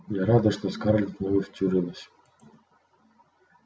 а я рада что скарлетт в него втюрилась